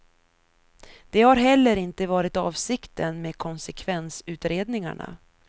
Det har heller inte varit avsikten med konsekvensutredningarna.